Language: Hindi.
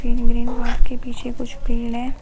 ग्रीन ग्रीन घास के पीछे कुछ पेड़ हैं।